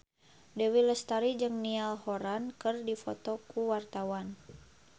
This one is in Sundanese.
Dewi Lestari jeung Niall Horran keur dipoto ku wartawan